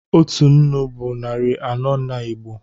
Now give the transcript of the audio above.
Otu nnu bụ narị anọ n'Igbo